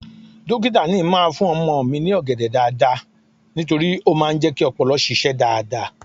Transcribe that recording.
Dókítà ni ń máa fún ọmọ mi ní ọ̀gẹ̀dẹ̀ dáadáa nítorí ó máa ń jẹ́ kí ọpọlọ ṣiṣẹ́ dáadáa